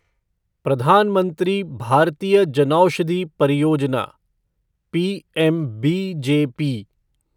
प्रधान मंत्री भारतीय जनौषधि परियोजना' पीएमबीजेपी